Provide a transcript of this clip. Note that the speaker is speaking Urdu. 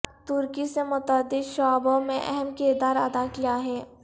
ترکی نے متعدد شعبوں میں اہم کردار ادا کیا ہے